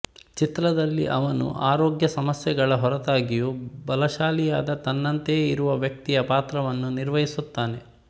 ಚಿತ್ರದಲ್ಲಿ ಅವನು ಆರೋಗ್ಯ ಸಮಸ್ಯೆಗಳ ಹೊರತಾಗಿಯೂ ಬಲಶಾಲಿಯಾದ ತನ್ನಂತೆಯೇ ಇರುವ ವ್ಯಕ್ತಿಯ ಪಾತ್ರವನ್ನು ನಿರ್ವಹಿಸುತ್ತಾನೆ